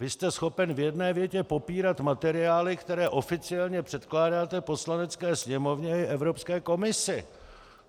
Vy jste schopen v jedné větě popírat materiály, které oficiálně předkládáte Poslanecké sněmovně i Evropské komisi!